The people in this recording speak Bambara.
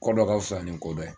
Kɔ dɔ ka fisa nin kɔ dɔ ye.